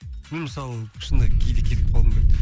мен мысалы шынында кейде кетіп қалғым келеді